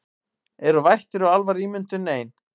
Eru vættir og álfar ímyndun ein